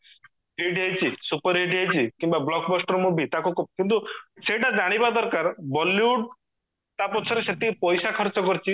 hit ହେଇଛି super hit ହେଇଚି କିମ୍ବା blockbuster movie ତାକୁ କ କିନ୍ତୁ ସେଟା ଜାଣିବା ଦରକାର bollywood ତା ପଛରେ ସେତିକି ପଇସା ଖର୍ଚ କରିଛି